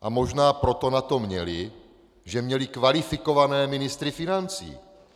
A možná proto na to měly, že měly kvalifikované ministry financí.